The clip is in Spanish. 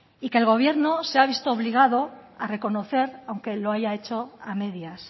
y que el gobierno se ha visto obligado a reconocer aunque lo haya hecho a medias